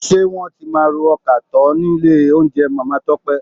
Ṣé wọ́n tí máa ro ọkà tọ́ nílé oúnjẹ Màmá Tọ́pẹ́?